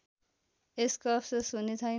यसको अफसोस हुनेछैन